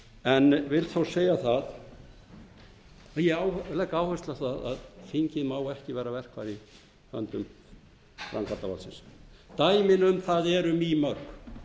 en vil þó segja að ég legg áherslu á að þingið má ekki vera verkfæri í höndum framkvæmdarvaldsins dæmin um það eru mýmörg